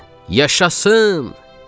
Və yaşasın!